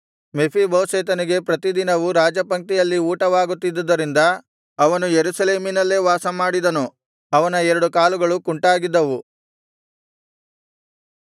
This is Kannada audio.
ಮೆಫೀಬೋಶೆತನಿಗೆ ಪ್ರತಿದಿನವೂ ರಾಜಪಂಕ್ತಿಯಲ್ಲಿ ಊಟವಾಗುತ್ತಿದ್ದರಿಂದ ಅವನು ಯೆರೂಸಲೇಮಿನಲ್ಲೇ ವಾಸಮಾಡಿದನು ಅವನ ಎರಡು ಕಾಲುಗಳು ಕುಂಟಾಗಿದ್ದವು